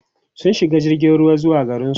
sun shiga jirgin ruwa zuwa garinsu